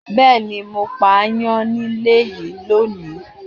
Bẹẹni, mo pa ayan nílé yìí lónìí.